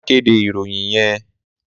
Má kédé iróyin yèn